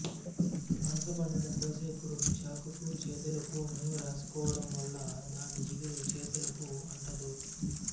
పనసపండును కోసేప్పుడు చాకుకు చేతులకు నూనె రాసుకోవడం వల్ల దాని జిగురు చేతులకు అంటదు